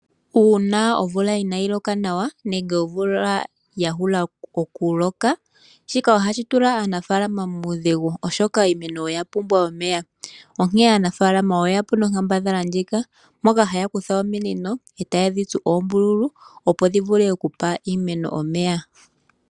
Uuna omvula inayi loka nawa nenge omvula ya hula okuloka, shika ohashi tula aanafaalama muudhigu, oshoka iimeno oya pumbwa omeya. Onkene aanafalama oyeyapo nonkambadhala ndyoka, moka haya kutha ominino, etaye dhitsu oombululu, opo dhi vule okupa iimeno omeya.